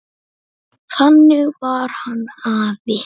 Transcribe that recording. Þannig var hann afi.